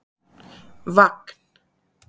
Vagn